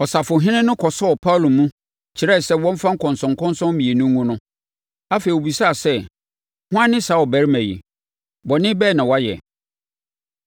Ɔsafohene no kɔsɔɔ Paulo mu, kyerɛɛ sɛ wɔmfa nkɔnsɔnkɔnsɔn mmienu ngu no. Afei, ɔbisaa sɛ, “Hwan ne saa ɔbarima yi? Bɔne bɛn na wayɛ?”